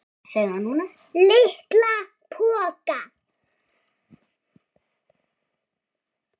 LITLA POKA!